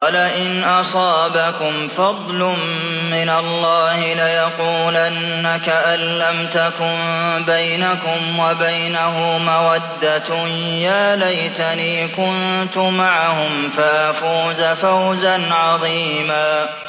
وَلَئِنْ أَصَابَكُمْ فَضْلٌ مِّنَ اللَّهِ لَيَقُولَنَّ كَأَن لَّمْ تَكُن بَيْنَكُمْ وَبَيْنَهُ مَوَدَّةٌ يَا لَيْتَنِي كُنتُ مَعَهُمْ فَأَفُوزَ فَوْزًا عَظِيمًا